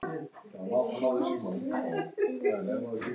Blaðra eða Ek?